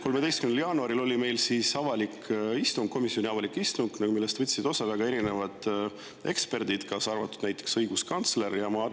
13. jaanuaril oli meil komisjoni avalik istung, millest võtsid osa väga erinevad eksperdid, kaasa arvatud näiteks õiguskantsler.